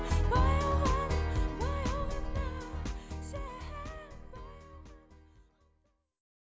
баяу ғана баяу ғана сен